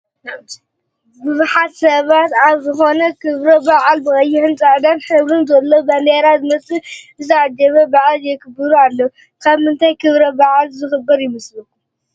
ብዙሓት ሰባት ኣብ ዝኾነ ክብረ በዓል ብቀይሕን ብፃዕዳን ሕብር ዘለዎ ባንዴራ ዝመስል ዝተዓጀበ በዓል የክብሩ ኣለው፡፡ ኣብ ምንታይ ክብረ በዓል ዝኽበር ይመስለኩም?